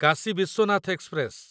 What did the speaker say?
Kashi Vishwanath express